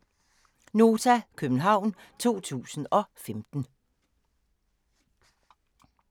(c) Nota, København 2015